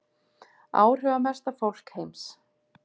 Áhrifamesta fólk heims